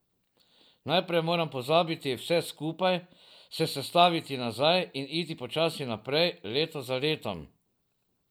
Najprej moram pozabiti vse skupaj, se sestaviti nazaj in iti počasi naprej, leto za letom.